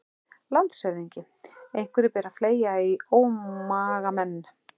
LANDSHÖFÐINGI: Einhverju ber að fleygja í ómagamenn.